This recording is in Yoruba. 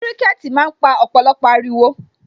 Kiriketi máa ń pa ọ̀pọ̀lọpọ̀ ariwo